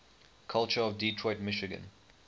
culture of detroit michigan